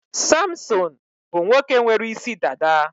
Samson bụ nwoke nwere isi dada.